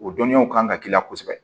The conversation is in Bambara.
O dɔnniyaw kan ka k'i la kosɛbɛ